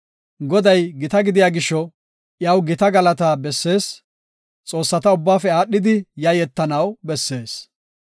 Goday gita gidiya gisho iyaw gita galatii bessees; xoossata ubbaafe aadhidi yayetanaw bessees.